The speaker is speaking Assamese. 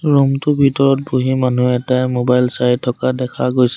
ৰুম টো ভিতৰত বহি মানুহ এটাই মোবাইল চাই থকা দেখা গৈছে।